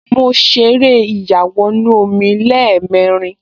Mo ṣeré ìyàwọnù-omi lẹ́ẹ̀mẹrin